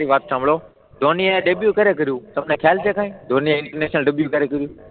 મારી વાત સાંભળો ધોની એ ડેબ્યુ ક્યારે કર્યું તમને ખ્યાલ છે કઈ ધોનીએ ઇન્ટરનેશનલ ડેબ્યુ ક્યારે કર્યું?